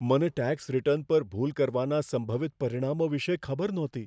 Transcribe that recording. મને tax return પર ભૂલ કરવાના સંભવિત પરિણામો વિશે ખબર નહોતી.